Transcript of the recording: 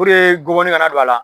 gɔbɔni kana don a la